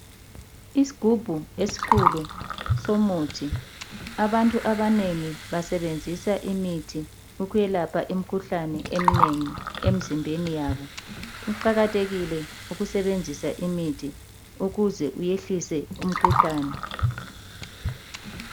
Isigubhu esikhulu somuthi abantu abanengi basebenzisa imithi ukwelapha imkhuhlane emnengi emzimbeni yabo. Kuqakathekile ukusebenzisa imithi ukuze uyehlise umkhuhlane.